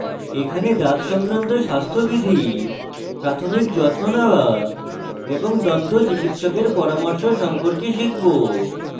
এখানে দাঁত সংক্রান্ত স্বাস্থ্যবিধি প্রাথমিক যত্ন নেওয়া এবং দন্তচিকিৎসকের পরামর্শ সম্পর্কে শিখব